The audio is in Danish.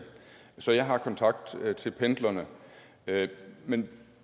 så jeg har kontakt til pendlerne men